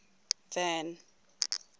van